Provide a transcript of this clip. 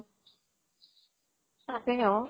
তাকে অʼ